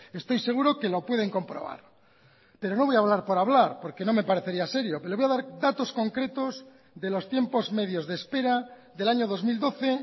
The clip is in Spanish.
estoy seguro que lo pueden comprobar pero no voy a hablar por hablar porque no me parecería serio pero le voy a dar datos concretos de los tiempos medios de espera del año dos mil doce